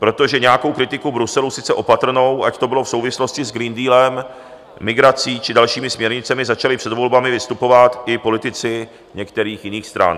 Protože nějakou kritiku Bruselu, sice opatrnou, ať to bylo v souvislosti s Green Dealem, migrací, či dalšími směrnicemi, začali před volbami vystupovat i politici některých jiných stran.